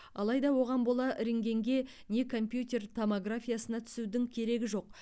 алайда оған бола рентгенге не компьютер томографиясына түсудің керегі жоқ